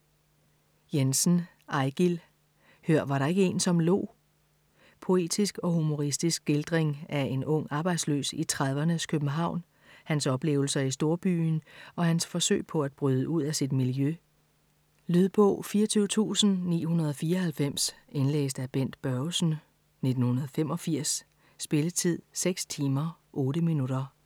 Jensen, Eigil: Hør, var der ikke en, som lo? Poetisk og humoristisk skildring af en ung arbejdsløs i 30'rnes København, hans oplevelser i storbyen og hans forsøg på at bryde ud af sit miljø. Lydbog 24994 Indlæst af Bent Børgesen, 1985. Spilletid: 6 timer, 8 minutter.